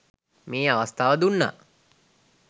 මේ අවස්ථාව දුන්න